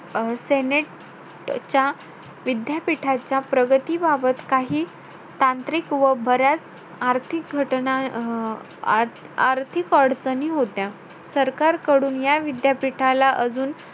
hello माझं माझ नाव सुनिता दळवे मी राहणारी ओव्याची माझा कसाल गाव.